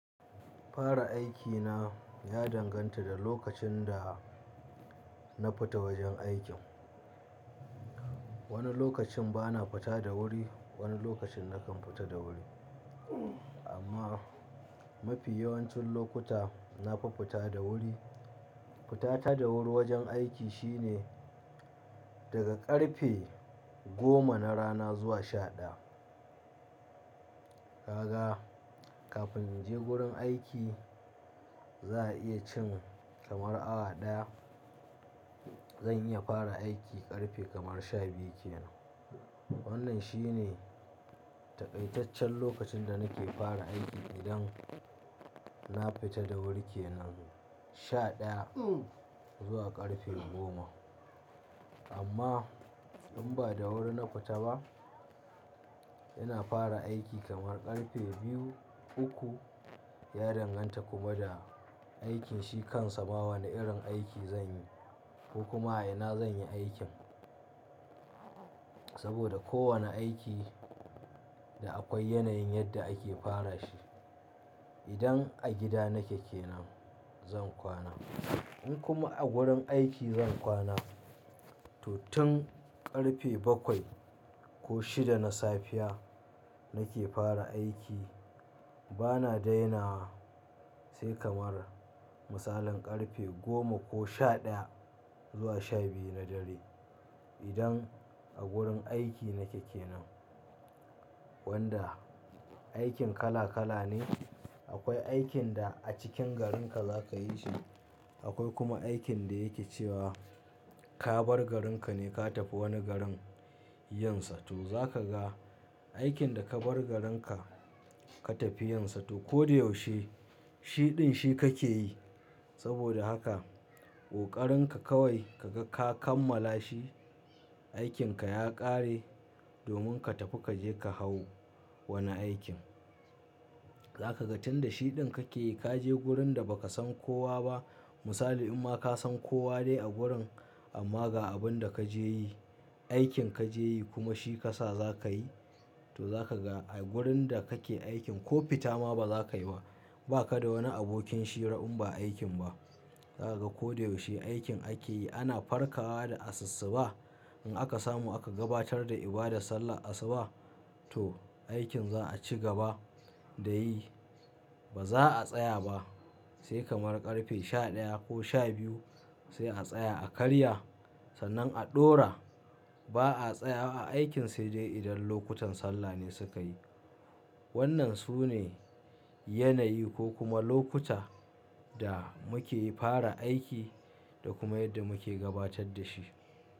Fara aiki na ya danganta da lokacin da na fita wajen aikin. Wani lokacin bana fita da wuri, wani lokacin na kan fita da wuri. Amma mafi yawancin lokuta nafi fita da wuri. Fita ta da wuri wajen aiki shine daga ƙarfe goma na rana zuwa sha daya. Kaga, kafin in je gurin aiki za'a iya cin kamar awa daya. Zan iya fara aiki ƙarfe kamar sha biyu kenan. Wannan shine takaitaccen lokacin da nake fara aiki idan na fita da wuri kenan, sha daya zuwa ƙarfe goma. Amma in ba da wuri na fita ba, ina fara aiki kamar ƙarfe biyu, uku ya danganta kuma da aikin shi kansa ma wane irin aiki zanyi ko kuma a ina zanyi aikin. Saboda ko wane aiki da akwai yanayin yadda ake fara shi. Idan a gida nake kenan zan kwana. In kuma a gurin aiki zan kwana. To tun ƙarfe bakwai ko shida na safiya nake fara aiki bana dainawa sai kamar misalin ƙarfe goma ko sha daya zuwa sha biyu na dare idan a gurin aiki nake kenan. Wanda aikin kala kala ne. Akwai aikin da a cikin garin ka zaka yi shi. Akwai kuma aikin da yake cewa ka bar garin ka ne ka tafi wani garin yin sa. To za ka ga aikin da ka bar garin ka, ka tafi yin sa to ko da yaushe shiɗin shi kake yi. Saboda haka ƙoƙarin ka kawai ka ga ka kammala shi, aikin ka ya ƙare domin ka tafi ka je ka hau wani aikin. Za ka ga tun da shiɗin kake yi kaje wurin da ba ka san kowa ba. Misali in ma ka san kowa dai a gurin amma ga abun da ka je yi, aikin ka je yi kuma shi kasa za ka yi to za ka ga a wurin da kake aikin ko fita ma ba za ka yi ba. Ba ka da wani abokin shira in ba aikin ba. Za ka ga ko da yaushe aikin ake yi ana farkawa da asussuba. In aka samu aka gabatar da ibadar sallah asuba to aikin za a cigaba da yi. Ba za'a tsaya ba sai kamar ƙarfe sha daya ko sha biyu sai a tsaya a karya. Sannan a ɗora ba'a tsayawa a aikin sai dai idan lokutan sallah ne suka yi. Wannan sune yanayi ko kuma lokuta da muke fara aiki da kuma yadda muke gabatar da shi.